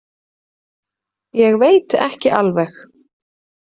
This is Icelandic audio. Ég veit ekki alveg